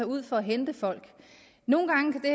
ud for at hente folk nogle gange kan